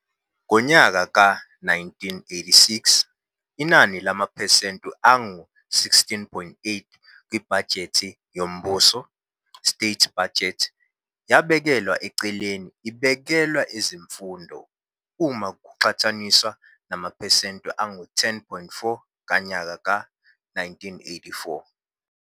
Ngonyaka ka 1986, inani lamaphesente angu 16.8 kwibhajethe yombuso, state budget, yabekelwa eceleni ibekelwe ezemfundo, uma kuqhathaniswa namaphesente angu 10.4 kanyaka ka 1984.